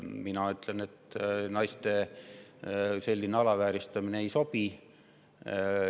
Mina ütlen, et selline naiste alavääristamine ei ole sobilik.